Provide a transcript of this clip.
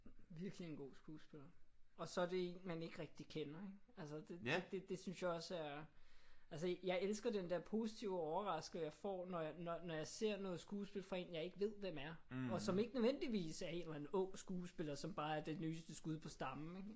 Virkelig en god skuespiller. Og så er det en man ikke rigtig kender ik? Altså det det synes jeg også er altså jeg elsker den der positive overraskelse jeg får når jeg når jeg ser noget skuespil fra en jeg ikke ved hvem er. Og som ikke nødvendigvis er en eller anden ung skuespiller som bare er det nyeste skud på stammen ik?